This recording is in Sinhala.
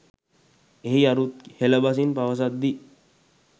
එහි අරුත් හෙළ බසින් පවසද්දී